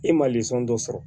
E ma dɔ sɔrɔ